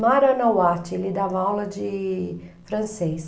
Mariana Watt, ele dava aula de francês.